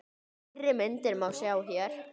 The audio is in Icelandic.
Fleiri myndir má sjá hér